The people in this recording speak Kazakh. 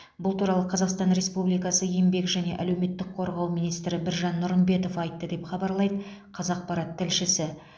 бұл туралы қазақстан республикасы еңбек және әлеуметтік қорғау министрі біржан нұрымбетов айтты деп хабарлайды қазақпарат тілшісі